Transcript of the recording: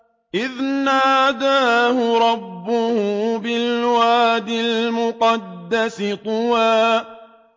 إِذْ نَادَاهُ رَبُّهُ بِالْوَادِ الْمُقَدَّسِ طُوًى